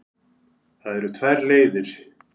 Það eru tvær leiðir.